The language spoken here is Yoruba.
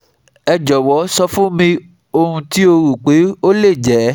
Ẹ jọwọ sọ fun mi ohun ti o ro pe o le jẹ